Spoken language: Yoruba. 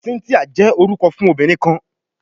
Cynthia jẹ orukọ fun obinrin kan